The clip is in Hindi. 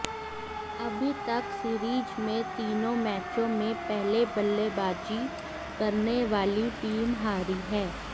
अभी तक सीरीज में तीनों मैचों में पहले बल्लेबाजी करने वाली टीम हारी है